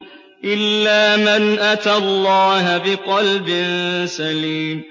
إِلَّا مَنْ أَتَى اللَّهَ بِقَلْبٍ سَلِيمٍ